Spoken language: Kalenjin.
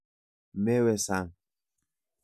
Mewe sang.